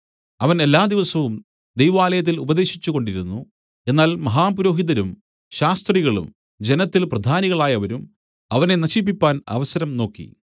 അവൻ എല്ലാ ദിവസവും ദൈവാലയത്തിൽ ഉപദേശിച്ചുകൊണ്ടിരുന്നു എന്നാൽ മഹാപുരോഹിതരും ശാസ്ത്രികളും ജനത്തിൽ പ്രധാനികളായവരും അവനെ നശിപ്പിപ്പാൻ അവസരം നോക്കി